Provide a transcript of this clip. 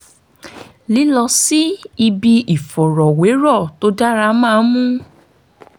lílọ síbi ìfọ̀rọ̀wérọ̀ tó dára máa ń mú